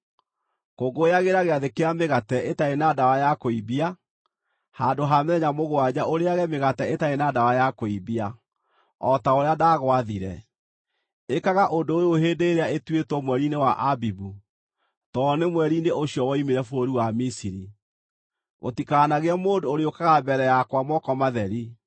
“Kũngũyagĩra Gĩathĩ kĩa Mĩgate Ĩtarĩ na Ndawa ya Kũimbia; handũ ha mĩthenya mũgwanja ũrĩĩage mĩgate ĩtarĩ na ndawa ya kũimbia, o ta ũrĩa ndagwaathire. Ĩkaga ũndũ ũyũ hĩndĩ ĩrĩa ĩtuĩtwo mweri-inĩ wa Abibu, tondũ nĩ mweri-inĩ ũcio woimire bũrũri wa Misiri. “Gũtikanagĩe mũndũ ũrĩũkaga mbere yakwa moko matheri.